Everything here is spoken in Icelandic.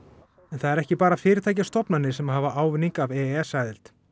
en það eru ekki bara fyrirtæki og stofnanir sem hafa haft ávinning af e e s aðild